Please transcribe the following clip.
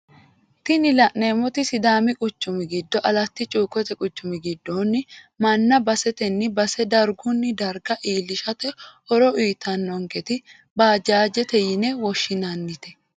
Tini la'neemoti sidaami quchumi giddo alata cuukkote quchumi giddoonni manna basetenni base dargunni darga iilishate horo uyiitannonketi baajaajete yine woshshinannite.